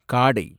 காடை